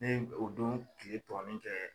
Ne y o don tile tɔɔnin kɛ